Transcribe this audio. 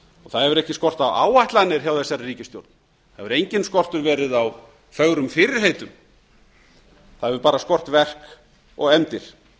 það hefur ekki skort á áætlanir hjá þessari ríkisstjórn það hefur enginn skortur verið á fögrum fyrirheitum það hefur bara skort verk og efndir